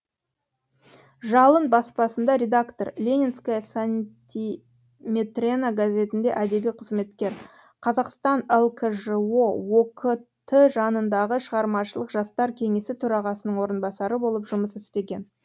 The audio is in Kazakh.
жалын баспасында редактор ленинская сантиметрена газетінде әдеби қызметкер қазақстан лкжо ок ті жанындағы шығармашылық жастар кеңесі төрағасының орынбасары болып жұмыс істеген